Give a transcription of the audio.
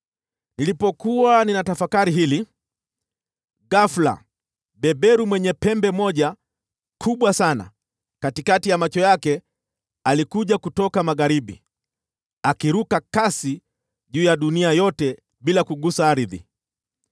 Nilipokuwa ninatafakari hili, ghafula beberu mwenye pembe moja kubwa sana katikati ya macho yake alikuja kutoka magharibi, akiruka kasi juu ya dunia yote bila kugusa ardhi.